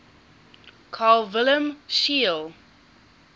carl wilhelm scheele